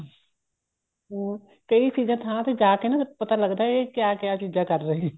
ਹਾਂ ਕਈ ਚੀਜ਼ਾਂ ਥਾਂ ਤੇ ਜਾ ਕੇ ਨਾ ਪਤਾ ਲੱਗਦਾ ਇਹ ਕਿਆ ਕਿਆ ਚੀਜ਼ਾਂ ਕਰ ਰਹੇ